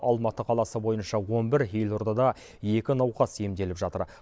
алматы қаласы бойынша он бір елордада екі науқас емделіп жатыр